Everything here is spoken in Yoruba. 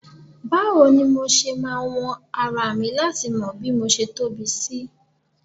Báwo ni mo ṣe máa wọn ara mi láti mọ bí mo ṣe tóbi sí